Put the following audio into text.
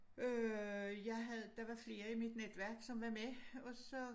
Øh jeg havde der var flere i mit netværk som var med og så